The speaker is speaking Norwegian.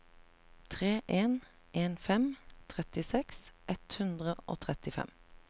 tre en en fem trettiseks ett hundre og trettifem